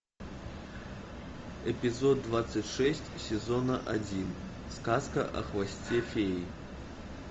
эпизод двадцать шесть сезона один сказка о хвосте феи